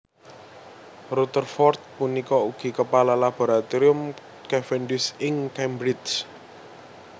Rutherford punika ugi kepala Laboratorium Cavendish ing Cambridge